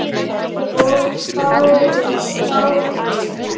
Svo fáguð.